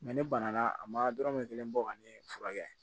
ne banna a ma dɔrɔmɛ kelen bɔ ka ne furakɛ